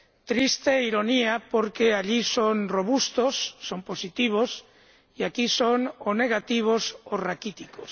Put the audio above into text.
Triste ironía, porque allí son robustos, son positivos, y aquí son o negativos o raquíticos.